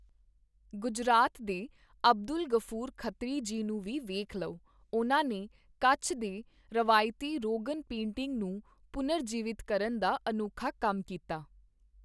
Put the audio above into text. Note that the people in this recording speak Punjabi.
ਗੁਜਰਾਤ ਦੇ ਅਬਦੁਲ ਗ਼ਫ਼ੂਰ ਖ਼ਤਰੀ ਜੀ ਨੂੰ ਵੀ ਵੇਖ ਲਓ, ਉਨ੍ਹਾਂ ਨੇ ਕੱਛ ਦੇ ਰਵਾਇਤੀ ਰੋਗਨ ਪੇਂਟਿੰਗ ਨੂੰ ਪੁਨਰ ਜੀਵਿਤ ਕਰਨ ਦਾ ਅਨੋਖਾ ਕੰਮ ਕੀਤਾ।